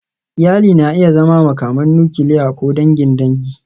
Iyali na iya zama makaman nukiliya ko dangin dangi.